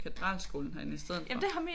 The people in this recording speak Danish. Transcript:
Jeg var inde på Katedralskolen herinde i stedet for